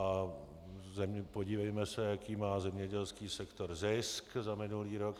A podívejme se, jaký má zemědělský sektor zisk za minulý rok.